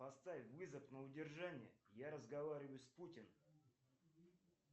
поставь вызов на удержание я разговариваю с путиным